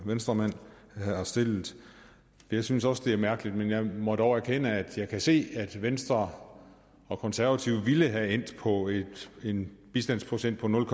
venstremanden har stillet jeg synes også det er mærkeligt men jeg må dog erkende det at jeg kan se at venstre og konservative ville være endt på en bistandsprocent på nul